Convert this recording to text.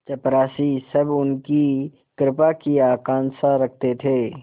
चपरासीसब उनकी कृपा की आकांक्षा रखते थे